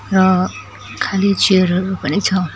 र खाली चेयर हरू पनि छ।